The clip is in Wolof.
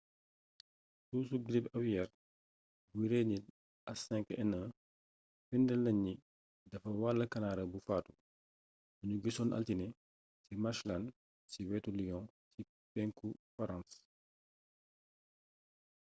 sushu girip awiyeer buy rey nit h5n1 firndéel nañ ni dafa wàll kanaara bu faatu buñu gisoon altine ci marshland ci wetu lyon ci penku farans